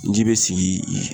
Ji be sigi ii